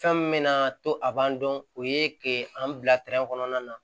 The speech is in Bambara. Fɛn min bɛna to a b'an dɔn o ye ke an bila kɔnɔna na